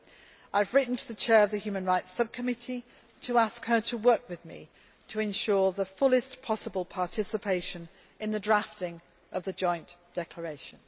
I have written to the Chair of the Human Rights Sub Committee to ask her to work with me to ensure the fullest possible participation in the drafting of the Joint Declaration.